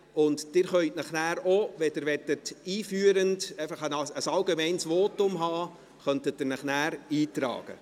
Danach können Sie sich auch in die Rednerliste eintragen, wenn Sie einführend ein allgemeines Votum halten wollen.